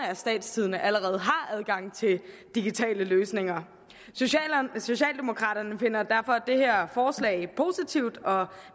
af statstidende allerede har adgang til digitale løsninger socialdemokraterne finder derfor det her forslag positivt og